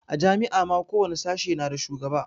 A jami'a ma ko wani sashe na da shugaba